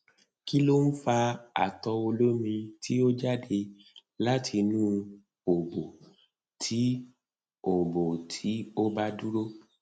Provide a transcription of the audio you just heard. kí ló ń fa ato olomi tí ó jáde láti inú obo tí ó obo tí ó ba dúró